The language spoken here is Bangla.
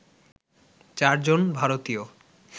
চারজন ভারতীয়